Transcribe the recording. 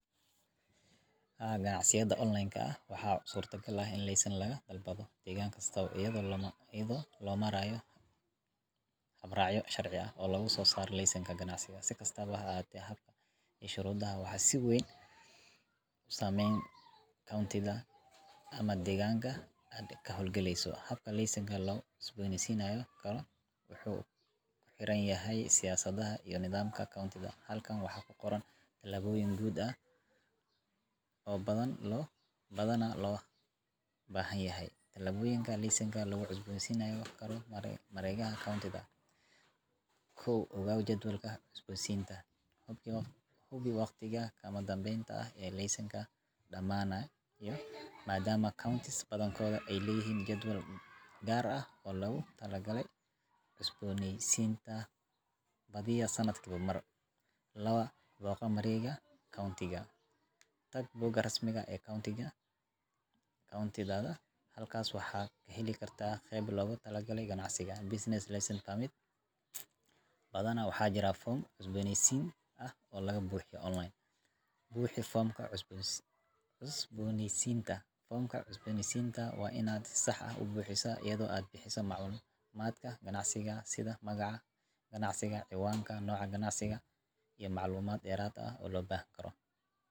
Haa, ganacsiyada online-ka ah waxaa suurtagal ah in laysan laga dalbado degaan kasta, iyadoo loo marayo habraacyo sharci oo lagu soo saaro laysanka ganacsi. Si kastaba ha ahaatee, habka iyo shuruudaha waxaa si weyn u saameeya county-ga ama degmada aad ka howlgelayso. Habka laysanka loogu cusboonaysiin karo wuxuu ku xiran yahay siyaasadaha iyo nidaamka county-da. Halkan waxaa ku qoran tallaabooyin guud oo badanaa loo baahan yahay Tallaabooyinka Laysanka Loogu Cusboonaysiin Karo Mareegaha County-da 1.Ogow Jadwalka Cusboonaysiinta Hubi waqtiga kama dambaysta ah ee laysankaagu dhamaanayo, maadaama counties badankood ay leeyihiin jadwal gaar ah oo loogu talagalay cusboonaysiinta badiyaa sanadkiiba mar 2 Booqo Mareegaha County-ga Tag bogga rasmiga ah ee county-daada. Halkaas waxaad ka heli kartaa qaybta loogu talagalay ganacsiga Business Licenses/Permits. Badanaa waxaa jira foom cusboonaysiin ah oo laga buuxiyo online. 3.Buuxi Foomka Cusboonaysiinta Foomka cusboonaysiinta waa inaad si sax ah u buuxisaa, iyadoo aad bixiso macluumaadka ganacsigaaga sida magaca ganacsiga, ciwaanka, nooca ganacsiga, iyo macluumaad dheeraad ah oo loo baahan karo. 4 Bixi Lacagta